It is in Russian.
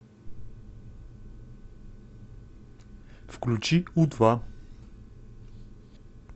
включи у два